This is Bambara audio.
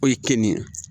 O ye kenige ye